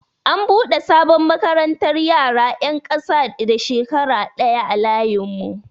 An buɗe sabon makarantar yara 'yan ƙasa da shekara ɗaya a layin mu.